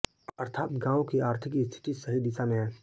अर्थात गांव की आर्थिक स्थिति सही दिशा में है